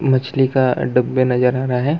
मछली का डब्बे नजर आ रहा हैं।